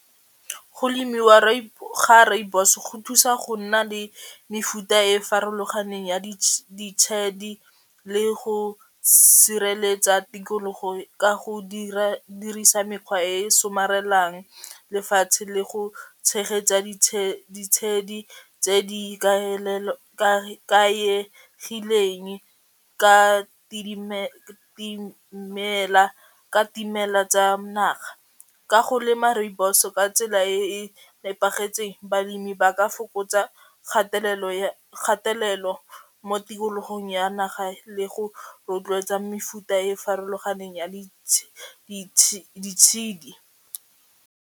Go lemiwa ga rooibos go thusa go nna le mefuta e farologaneng ya le go sireletsa tikologo ka go dirisa mekgwa e somarelang lefatshe le go tshegetsa ditshedi tse di ikaegileng ka ka dimela tsa naga, ka go lema rooibos-o ka tsela e e nepagetseng balemi ba ka fokotsa kgatelelo mo tikologong ya naga le go rotloetsa mefuta e farologaneng ya ditshedi.